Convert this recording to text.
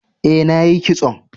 E,na yi kison.